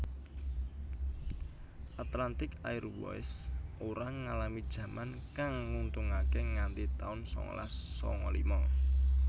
Atlantic Airways ora ngalami jaman kang nguntungake nganti tahun sangalas sanga lima